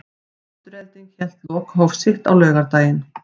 Afturelding hélt lokahóf sitt á laugardaginn.